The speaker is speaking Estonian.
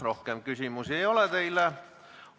Rohkem küsimusi teile ei ole.